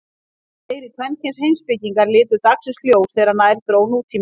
Fleiri kvenkyns heimspekingar litu dagsins ljós þegar nær dró nútímanum.